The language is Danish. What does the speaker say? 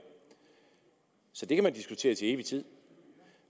så det kan man diskutere til evig tid